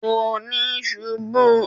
Kò níí ṣubú